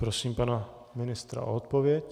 Prosím pana ministra o odpověď.